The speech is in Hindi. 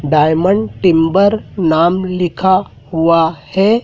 डायमंड टिंबर नाम लिखा हुआ है।